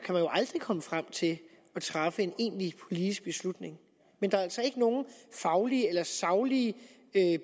jo aldrig komme frem til at træffe en egentlig politisk beslutning men der er altså ikke nogen faglige eller saglige